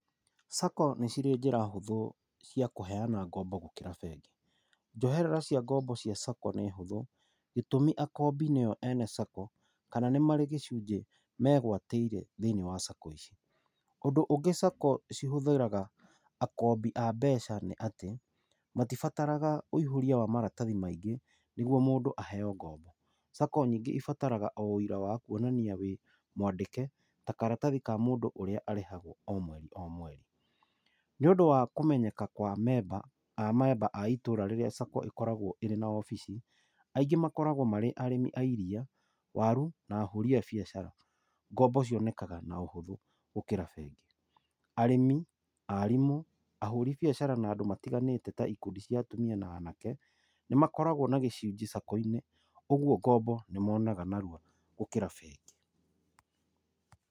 SACCO nĩ cirĩ njĩra hũthũ cia kũheana ngombo gũkĩra bengi. Njoherera cia ngombo cia SACCO nĩ hũthũ gĩtũmi akombi nĩo ene SACCO kana nĩ marĩ gĩcunjĩ megwatĩire thĩiniĩ wa SACCO ici ũndũ ũngĩ SACCO cihũthĩraga akombi a mbeca nĩ atĩ matibataraga wĩihũrĩa wa maratathi maingĩ nĩgũo mũndũ aheo ngombo SACCO nyingĩ ĩbataraga o wĩira wa kuonania wĩ mwandĩke ta karatathi ka mũndũ ũrĩa arĩhagwo o mweri o mweri. Nĩ ũndũ wa kũmenyeka kwa amemba a itũra rĩrĩa SACCO ĩkoragwo ĩrĩ na obici aingĩ makoragwo marĩ arĩmi a iria, waru na ahũri a biacara. Ngombo cionekaga na ũhũthũ gũkĩra bengi arĩmi, arimũ ahori biacara na andũ matiganĩte ta ikundi cia atumia na anake nĩ Amakoragwo na gĩcunjĩ SACCO-inĩ ũguo ngombo nĩ monaga narua gũkĩra bengi.